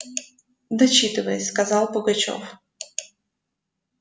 дочитывай сказал пугачёв